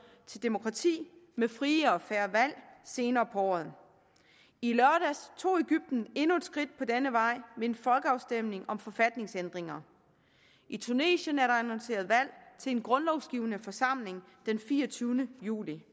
til demokrati med frie og fair valg senere på året i lørdags tog egypten endnu et skridt på denne vej ved en folkeafstemning om forfatningsændringer i tunesien er der annonceret valg til en grundlovsgivende forsamling den fireogtyvende juli